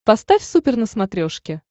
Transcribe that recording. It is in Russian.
поставь супер на смотрешке